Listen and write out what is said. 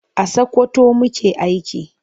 A Sakwkwato muke aiki.